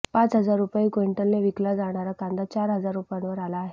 पाच हजार रुपये क्विंटलने विकला जाणारा कांदा चार हजार रुपयांवर आला आहे